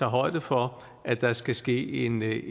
højde for at der skal ske en